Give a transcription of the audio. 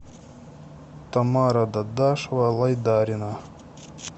тамара дадашева лайдарина